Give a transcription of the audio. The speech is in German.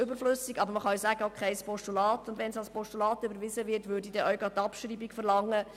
Wenn das Postulat überwiesen würde, würde ich auch gleichzeitig dessen Abschreibung verlangen.